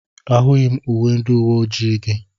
Ahụghị m uwe ndị uwe ojii gị.